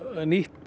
nýtt